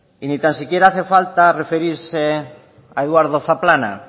y ni tan siquiera hace falta referirse a eduardo zaplana